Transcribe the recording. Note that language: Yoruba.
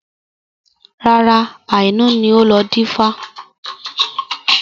Rárá, àná ni ó lọ dífá